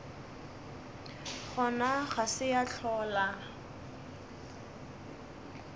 gona ga se ya hlola